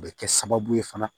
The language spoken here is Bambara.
O bɛ kɛ sababu ye fana